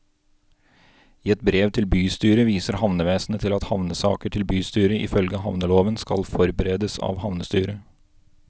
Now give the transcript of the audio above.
I et brev til bystyret viser havnevesenet til at havnesaker til bystyret ifølge havneloven skal forberedes av havnestyret.